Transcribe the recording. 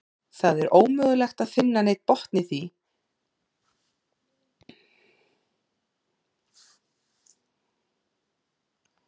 Það er ómögulegt að finna neinn botn í, hvort við skiljum hvort annað.